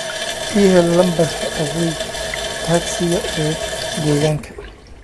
ii hel lambarka adeega tagsiga ee deegaanka